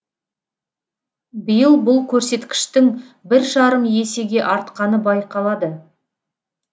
биыл бұл көрсеткіштің бір жарым есеге артқаны байқалады